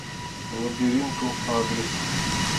лабиринтру адрес